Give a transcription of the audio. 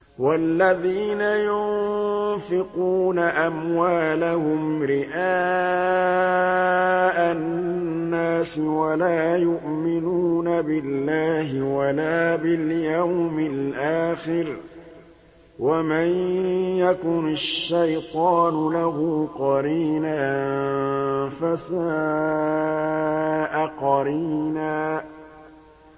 وَالَّذِينَ يُنفِقُونَ أَمْوَالَهُمْ رِئَاءَ النَّاسِ وَلَا يُؤْمِنُونَ بِاللَّهِ وَلَا بِالْيَوْمِ الْآخِرِ ۗ وَمَن يَكُنِ الشَّيْطَانُ لَهُ قَرِينًا فَسَاءَ قَرِينًا